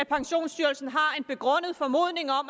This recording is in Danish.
pensionsstyrelsen